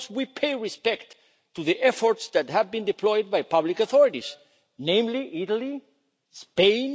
Of course we pay respect to the efforts that have been deployed by public authorities, namely, Italy and Spain.